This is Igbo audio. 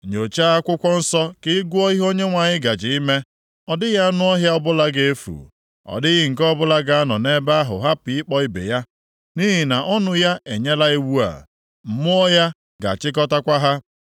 Nyochaa akwụkwọ nsọ ka ị gụọ ihe Onyenwe anyị gaje ime: Ọ dịghị anụ ọhịa ọbụla ga-efu. Ọ dịghị nke ọbụla ga-anọ nʼebe ahụ hapụ ịkpọ ibe ya, nʼihi na ọnụ ya enyela iwu a. Mmụọ ya ga-achịkọtakwa ha.